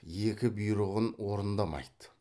екі бұйрығын орындамайды